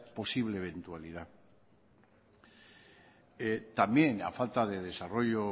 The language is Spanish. posible eventualidad también y a falta de desarrollo